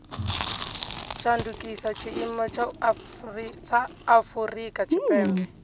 shandukisa tshiimo tsha afurika tshipembe